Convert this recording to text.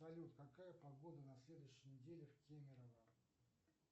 салют какая погода на следующей неделе в кемерово